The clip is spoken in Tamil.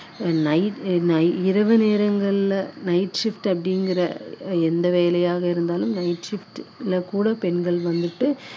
நை~ நை இரவு நேரங்களில் night shift அப்படிங்கிற எந்த வேலையாக இருந்தாலும் night shift ல கூட பெண்கள் வந்துட்டு